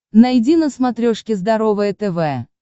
найди на смотрешке здоровое тв